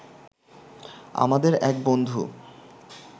আমাদের এক বন্ধু